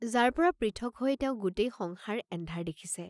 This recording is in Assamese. যাৰ পৰা পৃথক হৈ তেওঁ গোটেই সংসাৰ এন্ধাৰ দেখিছে।